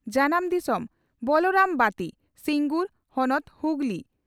᱾ᱡᱟᱱᱟᱢ ᱫᱤᱥᱚᱢ ᱺ ᱵᱚᱞᱚᱨᱟᱢᱵᱟᱛᱤ, ᱥᱤᱸᱜᱩᱨ, ᱾ᱦᱚᱱᱚᱛ ᱺ ᱦᱩᱜᱞᱤ, ᱯᱹᱵᱹ ᱾